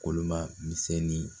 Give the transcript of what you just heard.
Kolo ma misɛnni